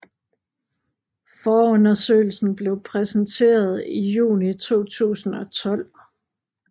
Forundersøgelsen blev præsenteret i juni 2012